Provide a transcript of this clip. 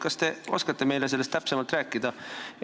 Kas te oskate meile sellest täpsemalt rääkida?